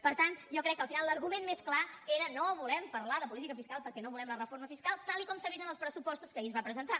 per tant jo crec que al final l’argument més clar era no volem parlar de política fiscal perquè no volem la reforma fiscal tal com s’ha vist en els pressupostos que ahir es van presentar